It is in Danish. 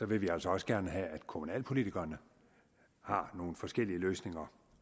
vil vi altså også gerne have at kommunalpolitikerne har nogle forskellige løsninger